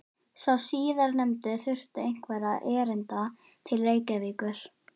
Sá síðarnefndi þurfti einhverra erinda til Reykjavíkur.